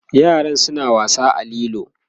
yaran suna wasa a lilo